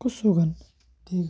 ku sugan deegaano.